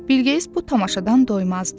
Bilgeys bu tamaşadan doymazdı.